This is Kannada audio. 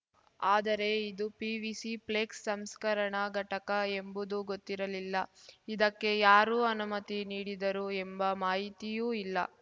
ಆದರೆ ಇದು ಪಿವಿಸಿ ಫ್ಲೆಕ್ಸ್ ಸಂಸ್ಕರಣಾ ಘಟಕ ಎಂಬುದು ಗೊತ್ತಿರಲಿಲ್ಲ ಇದಕ್ಕೆ ಯಾರು ಅನುಮತಿ ನೀಡಿದರು ಎಂಬ ಮಾಹಿತಿಯೂ ಇಲ್ಲ